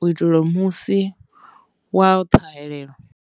u itela uri musi wa ṱhahelelo.